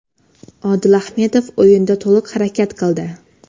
Odil Ahmedov o‘yinda to‘liq harakat qildi.